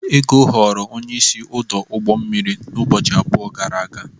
Ego ghọrọ onye isi ọdụ ụgbọ mmiri ụbọchị abụọ gara aga.